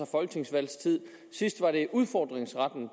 folketingsvalg sidst var det udfordringsretten